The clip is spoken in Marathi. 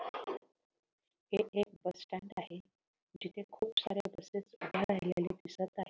हे एक बस स्टैंड आहे जिथे खूप साऱ्या बसेस उभ्या राहिलेल्या दिसत आहेत.